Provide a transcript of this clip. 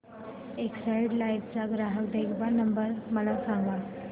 Exide life चा ग्राहक देखभाल नंबर मला सांगा